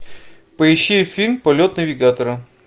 поищи фильм полет навигатора